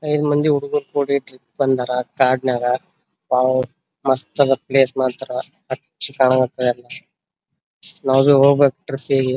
ಐದು ಮಂದಿ ಹುಡಿಗೀರ್ ಕುಡಿ ಟ್ರಿಪ್ ಬಂದರ್ ಕಾಡನಾಗ್ ಅವು ಮಸ್ತ್ ಅದ್ ಪ್ಲೇಸ್ ಮಾತ್ರ ಅಚ್ಚ ಕಾಣಕತ್ ಎಲ್ಲಾ. ನಾವಿ ಹೋಗಬೇಕ್ ಟ್ರಿಪ್ ಗೆ .